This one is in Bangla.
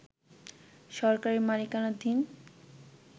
সরকারি মালিকানাধীন